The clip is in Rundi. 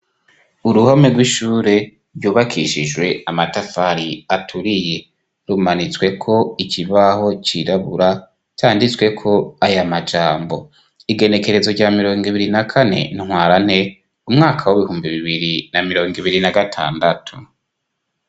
Uruhome rw'ishure ryubakishijwe amatafari aturiye rumanitsweko ikibaho cirabura canditsweko aya majambo igenekerezo rya mirongo ibiri na kane ntwarane umwaka w'ibihumbi bibiri na mirongo ibiri na gatandatu.